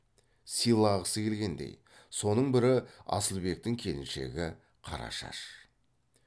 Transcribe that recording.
сыйлағысы келгендей соның бірі асылбектің келіншегі қарашаш